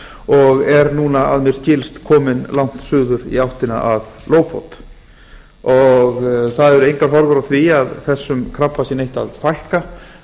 og er núna að mér skilst kominn langt suður í áttina að oft það eru engar horfur á því að þessum krabba sé neitt að fækka